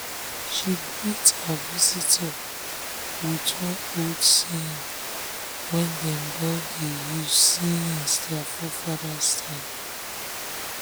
she greet her visitor with one old saying wey dem don um dey use since their forefathers time. um